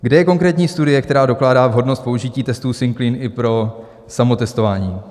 Kde je konkrétní studie, která dokládá vhodnost použití testů Singclean i pro samotestování?